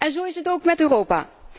Zo is het ook met Europa.